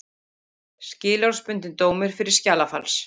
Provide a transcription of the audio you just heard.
Skilorðsbundinn dómur fyrir skjalafals